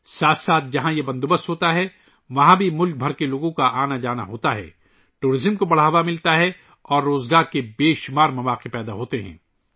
اس کے ساتھ ہی ، جہاں یہ انتظام ہوتا ہے ، وہاں ملک بھر سے لوگوں کا آنا جانا ہوتا ہے ، سیاحت کو فروغ ملتا ہے اور روزگار کے بے شمار مواقع پیدا ہوتے ہیں